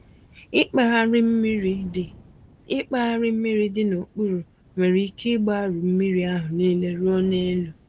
Ịkpagharị mmiri dị Ịkpagharị mmiri dị n'okpuru nwere ike ịgbarụ mmírí ahụ nile ruo n'elu.